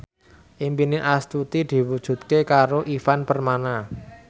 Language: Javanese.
impine Astuti diwujudke karo Ivan Permana